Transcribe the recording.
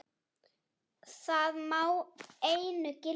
Það má einu gilda.